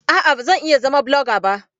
A'a, ba zan iya zama blogger ba